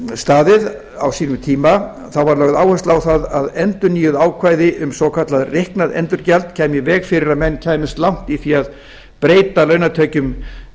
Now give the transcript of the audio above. staðið á sínum tíma var lögð áhersla á það að endurnýjuð ákvæði um svokallað reiknað endurgjald kæmi í veg fyrir að menn kæmust langt í því að breyta launatekjum